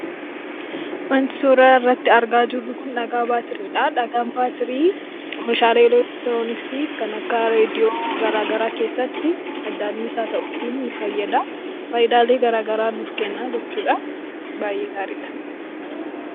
Wanti suuraa irratti argaa jirru kun dhagaa baatiriidha. Dhagaan baatirii meeshaalee elektirooniksi kan akka reedi'oo garagaraa keessatti madda anniisaa ta'uutin nu fayyada, fayidaalee garagaraa nuuf kenna jechuudha. Baayyee gaariidha.